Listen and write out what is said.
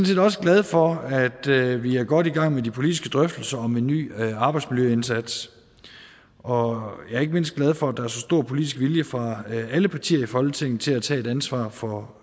set også glad for at vi er godt i gang med de politiske drøftelser om en ny arbejdsmiljøindsats og jeg er ikke mindst glad for at der er så stor politisk vilje fra alle partier i folketinget til at tage et ansvar for